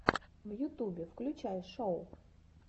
в ютубе включай шоу